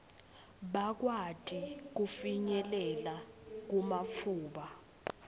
bakwati kufinyelela kumatfuba